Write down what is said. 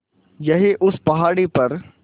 यहीं उस पहाड़ी पर